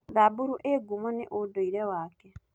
Samburu ĩĩ ngumo nĩ ũndũire wake.